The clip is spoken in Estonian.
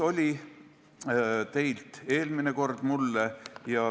Tõesti, eelmine kord see küsimus teil mulle oli.